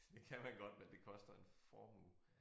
Det kan man godt men det koster en formue